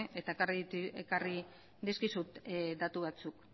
eta ekarri dizkizut datu batzuk